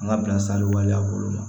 An ka bilasirali waleya bolo ma